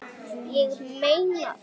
Ég meina það!